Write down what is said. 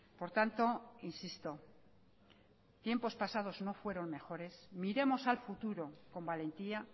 por tanto insisto tiempos pasados no fueron mejores miremos al futuro con valentía